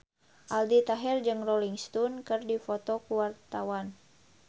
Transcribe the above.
Aldi Taher jeung Rolling Stone keur dipoto ku wartawan